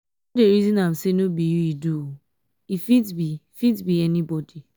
no dey resin am sey no be you e do um e fit be fit be um anybodi.